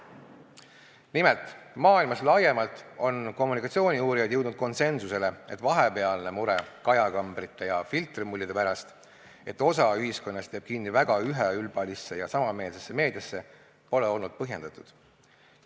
Nimelt, maailmas laiemalt on kommunikatsiooniuurijad jõudnud konsensusele, et vahepealne mure kajakambrite ja filtrimullide pärast – et osa ühiskonnast jääb kinni väga üheülbalisse ja samameelsesse meediasse – pole olnud põhjendatud.